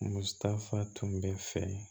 Musa tun bɛ fɛ